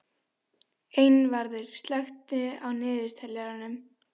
Einvarður, slökktu á niðurteljaranum.